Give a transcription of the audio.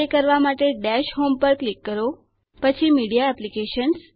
તે કરવા માટે ડૅશ હોમ પર ક્લિક કરો પછી મીડિયા એપ્લીકેશન્સ